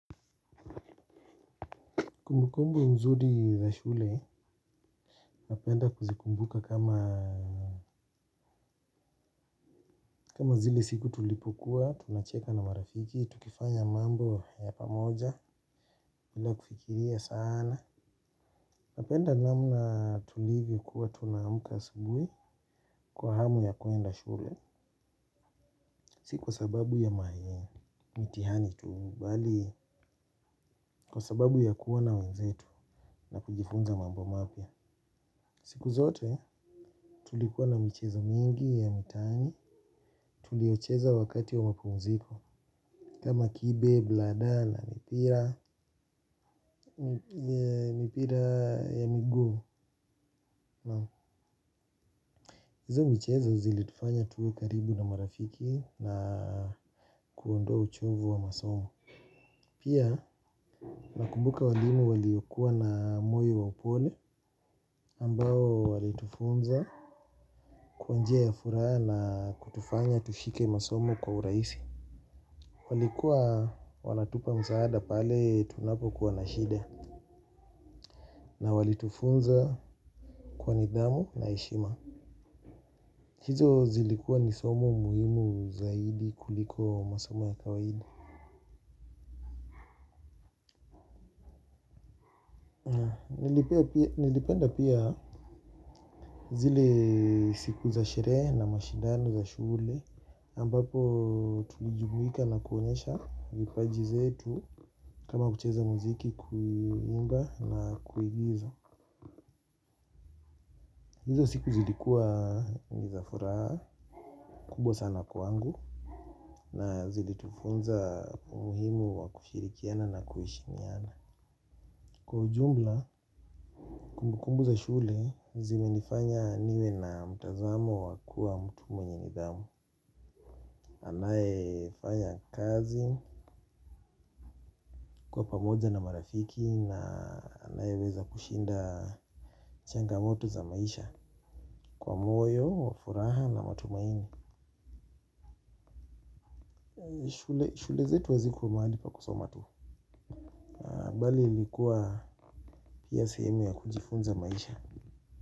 Kumbukumbu nzuri ya shule napenda kuzikumbuka kama kama zile siku tulipokuwa, tunacheka na marafiki, tukifanya mambo ya pamoja, bila kufikiria sana. Napenda namna tulivyokuwa tunaamka asubuhi kwa hamu ya kuenda shule, si kwa sababu ya mitihani tu, bali kwa sababu ya kuwa na wenzetu na kujifunza mambo mapya. Siku zote tulikuwa na michezo mingi ya mitaani tulicheza wakati wa mapumziko kama kibe bladder na mipira mipira ya miguu hizo michezo zilitufanya tuwe karibu na marafiki na kuondoa uchovu wa masomo. Pia nakumbuka walimu waliokuwa na moyo wa upole ambao walitufunza. Kwa njia ya furaha na kutufanya tushike masomo kwa urahisi. Walikuwa wanatupa msaada pale tunapo kuwa na shida na walitufunza kwa nidhamu na heshima. Hizo zilikuwa ni somo muhimu zaidi kuliko masomo ya kawaida. Nilipenda pia zile siku za sherehe na mashindano za shule ambapo tulijumuika na kuonyesha vipaji zetu kama kucheza muziki kuimba na kuigiza. Hizo siku zilikuwa ni za furaha kubwa sana kwangu na zilitufunza umuhimu wa kushirikiana na kuheshimiana. Kwa ujumla, kumbu kumbu za shule, zimenifanya niwe na mtazamo wa kuwa mtu mwenye nidhamu. Anaye fanya kazi kwa pamoja na marafiki na anaye weza kushinda changamoto za maisha kwa moyo, furaha na matumaini. Shule zetu hazikuwa mahali pa kusoma tu bali ilikuwa pia sehemu ya kujifunza maisha.